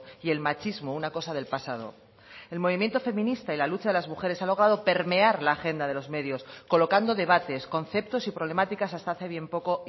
y el machismo una cosa del pasado el movimiento feminista y la lucha de las mujeres ha logrado permear la agenda de los medios colocando debates conceptos y problemáticas hasta hace bien poco